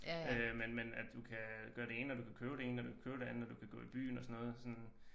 Men men at du kan gøre det ene og du kan købe det ene og du kan købe det andet og du kan gå i byen og sådan noget sådan